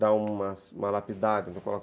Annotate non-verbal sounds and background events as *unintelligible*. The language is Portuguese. dá uma uma lapidada. *unintelligible*